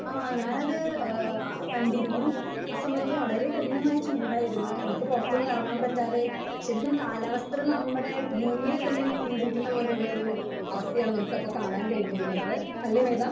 Speaker 2 ആഹ് ഞാനത് ഏഹ് കണ്ടിരുന്നു. ആഹ് സമയത്ത് വളരെ കഠിനമായ ചൂടായിരുന്നു. നമുക്ക് പുറത്തൊന്നും ഇറങ്ങാൻ പറ്റാതെ ശരിക്കും കാലാവസ്ഥകൾ നമ്മുടെ ഭൂമിയെ തന്നെ നിയന്ത്രിക്കുന്ന പോലെയുള്ള ഒരു അവസ്ഥയാണ് നമുക്കപ്പൊ കാണാൻ കഴിഞ്ഞിരുന്നത്. അല്ലേ മേഘാ?